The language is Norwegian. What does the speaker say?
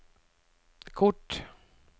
kort